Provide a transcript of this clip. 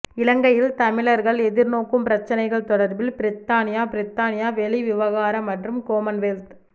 இலங்கையில் தமிழர்கள் எதிர்நோக்கும் பிரச்சினைகள் தொடர்பில் பிரித்தானிய பிரித்தானிய வெளிவிவகார மற்றும் கொமன்வெல்த்